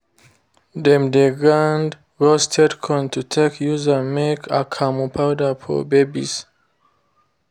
them dey grind roasted corn to take use am make akamu powder for babies